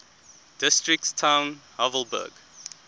districts town havelberg